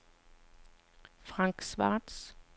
Frank Schwartz